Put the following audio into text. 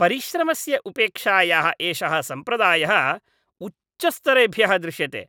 परिश्रमस्य उपेक्षायाः एषः सम्प्रदायः उच्चस्तरेभ्यः दृश्यते,